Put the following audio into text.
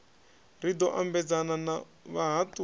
ri ḓo ambedzana na vhahaṱuli